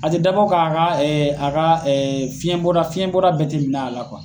A ti dabɔ ka a ka fiɲɛ bɔ da fiɲɛ bɔda bɛ ti minɛ a la